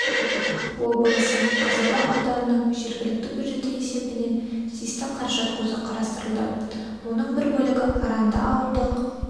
облысы қазалы ауданының жергілікті бюджеті есебінен тиісті қаражат көзі қарастырылды оның бір бөлігі аранды ауылдық